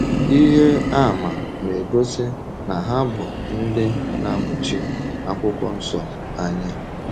Ihe àmà na-egosi na ha bụ ndị na-amụchi Akwụkwọ Nsọ anya.